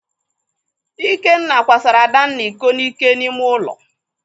Ikenna kwasara Adanna iko n'ike n'ime ụlọ.